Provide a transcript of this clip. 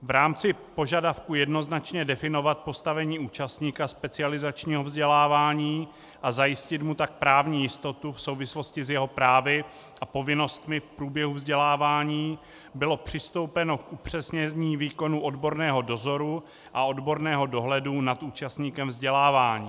V rámci požadavku jednoznačně definovat postavení účastníka specializačního vzdělávání a zajistit mu tak právní jistotu v souvislosti s jeho právy a povinnostmi v průběhu vzdělávání bylo přistoupeno k upřesnění výkonu odborného dozoru a odborného dohledu nad účastníkem vzdělávání.